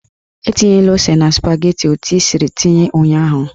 Etinyela ose na spageti etu ị siri tinye ụnyaahụ!